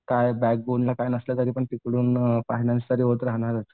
काय बॅकबोनला काय नसलं तरीपण फायनान्स तरी होत राहणारच.